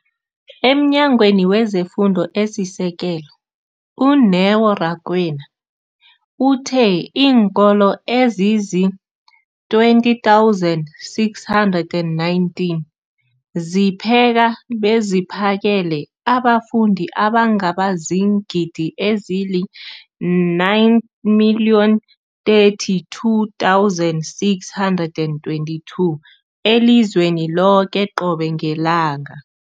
EmNyangweni wezeFundo esiSekelo, u-Neo Rakwena, uthe iinkolo ezizi-20 619 zipheka beziphakele abafundi abangaba ziingidi ezili-9 032 622 elizweni loke qobe ngelanga.